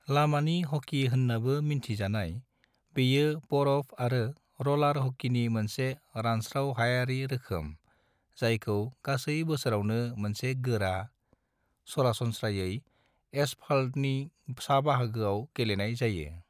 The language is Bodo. लामानि हकी होन्नाबो मिन्थिजानाय, बेयो बरफ आरो रलार हकीनि मोनसे रानस्राव-हायारि रोखोम जायखौ गासै बोसोरावनो मोनसे गोरा, सरासनस्रायै एसफाल्तनि साबाहागोआव गेलेनाय जायो।